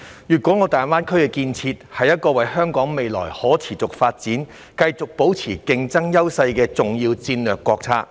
粵港澳大灣區的建設，是一個為香港未來可持續發展、繼續保持競爭優勢的重要戰略國策。